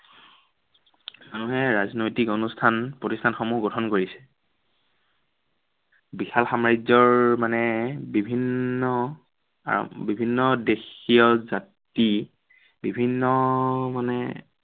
মানুহে ৰাজনৈতিক অনুষ্ঠান প্ৰতিষ্ঠানসমূহ গঠন কৰিছে। বিশাল সামাজ্য়ৰ মানে বিভিন্ন, আহ বিভিন্ন দেশীয় জাতি, বিভিন্ন মানে